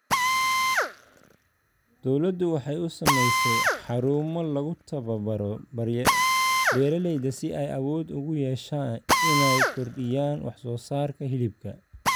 Dawladdu waxay u samaysay xarumo lagu tababaro beeralayda si ay awood ugu yeeshaan inay kordhiyaan wax soo saarka hilibka.